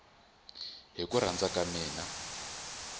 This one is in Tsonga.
hi ku rhandza ka mina